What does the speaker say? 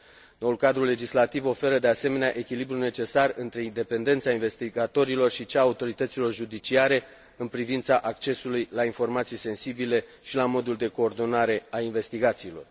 Noul cadru legislativ oferă, de asemenea, echilibrul necesar între independența investigatorilor și cea a autorităților judiciare în privința accesului la informații sensibile și la modul de coordonare a investigațiilor.